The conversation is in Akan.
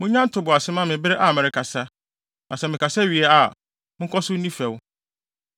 Munnya ntoboase mma me bere a merekasa, na sɛ mekasa wie a, monkɔ so nni fɛw.